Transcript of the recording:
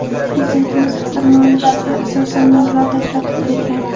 Prezidentimiz farmoyishga asosan mablag‘ ajratib bergan.